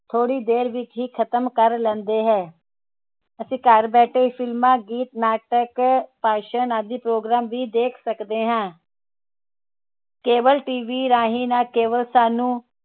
ਥੋੜੀ ਦੇਰ ਵਿਚ ਹੀ ਖਤਮ ਕਰ ਲੈਂਦੇ ਹੈ ਅਸੀਂ ਘਰ ਬੈਠੇ ਹੀ film ਗੀਤ ਨਾਟਕ ਭਾਸ਼ਣ ਆਦਿ program ਵੀ ਦੇਖ ਸਕਦੇ ਹਾਂ cable TV ਰਾਹੀਂ ਨਾਂ ਕੇਵਲ ਸਾਨੂੰ